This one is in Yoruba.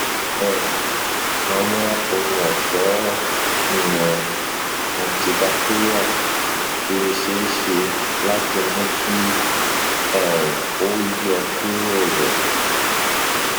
um awọn ohunọṣọ um antibacterial le ṣee ṣe lati mu ki um o yọkuro rẹ